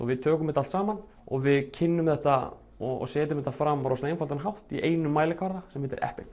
við tökum þetta allt saman og við kynnum þetta og setjum þetta fram á rosalega einfaldan hátt í einum mælikvarða sem heitir